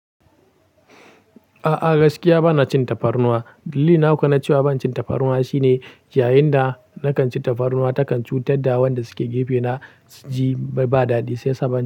A'a gaskiya bana cin tafarnuwa. Dillina ko na cewa ban cin tafarnuwa shine, yayin da nakan ci tafarnuwa takan cutar da wanda suke gefena ji bba dadi shi saban.